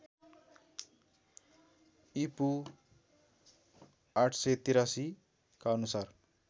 ईपू ८८३ का अनुसार